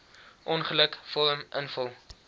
ongeluk vorm invul